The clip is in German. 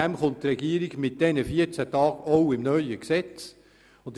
Deshalb schlägt die Regierung auch im neuen Gesetz 14 Tage vor.